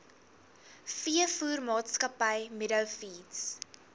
veevoermaatskappy meadow feeds